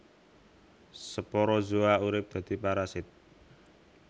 Sporozoa urip dadi parasit